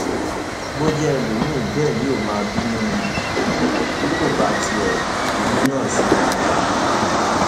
bó jẹ ẹlòmíín bẹẹ yóò máa bínú ni um bí kò bá tilẹ bínú náà sí gbangba um